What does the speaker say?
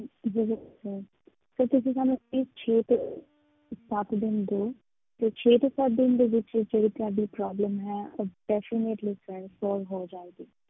ਜ਼ਰੂਰ sir ਤੁਸੀਂ ਸਾਨੂੰ please ਛੇ ਤੋਂ ਸੱਤ ਦਿਨ ਦਓ ਤੇ ਛੇ ਤੋਂ ਸੱਤ ਦਿਨ ਦੇ ਵਿੱਚ ਇਹ ਜਿਹੜੀ ਤੁਹਾਡੀ problem ਹੈ, ਉਹ definitely sir solve ਹੋ ਜਾਵੇਗੀ।